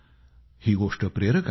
ही गोष्ट प्रेरक आहे